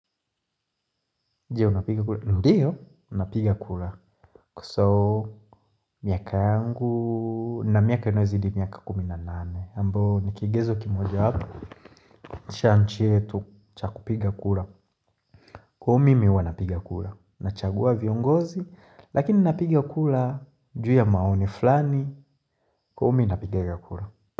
Ndiyo piga ku Ndiyo, nina piga kura. So miaka yangu nina miaka inayo zidi miaka kumi na nane. Ambayo nikigezo kimoja wapo, cha nchi yetu chaku piga kura. Kwa hiyo mimi huwa na piga kura. Na chagua viongozi, lakini nina piga kura, juu ya maoni fulani, kwa hiyo mimi napigaga kura.